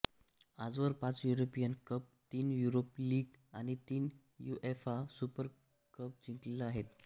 आजवर पाच European cup तीन युरोप लीग आणि तीन युएफा सुपर कप जिंकलेले आहेत